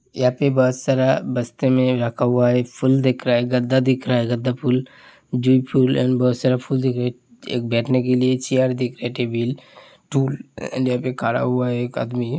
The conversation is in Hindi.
यहाँ पे बहोत सारा बस्ते में रखा हुआ है। फुल दिख रहा है। गद्दा दिख रहा है। गद्दा फुल जी फुल ऍन बहोत सारा फुल दिख रहा है। एक बैठने के लिए चेयर दिख रही है टेबिल टूल लेके खड़ा हुआ है एक आदमी --